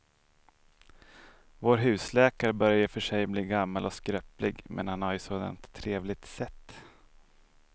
Vår husläkare börjar i och för sig bli gammal och skröplig, men han har ju ett sådant trevligt sätt!